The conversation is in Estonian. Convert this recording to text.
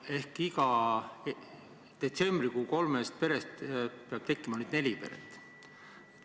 Ehk igast kolmest perest, mis oli detsembris, peab tekkima nüüd neli peret.